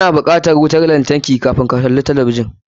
Ka na bukatan wuta lantarki kafun ka kalli talabijin.